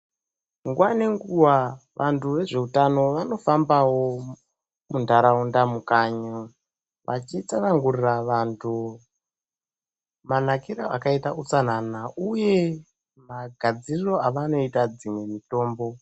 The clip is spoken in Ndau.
Nguva ngenguva vandu vezvehutano vanofambawo mundaraunda mukanyi vachitsanangurira vandu manakiro akaita utsanana uye magadziriro avanoita dzimwe mitombo.